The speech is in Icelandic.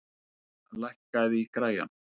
Ísmar, lækkaðu í græjunum.